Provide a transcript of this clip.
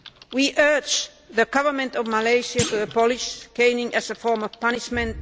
We urge the government of Malaysia to abolish caning as a form of punishment.